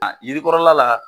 A yirikɔrɔla la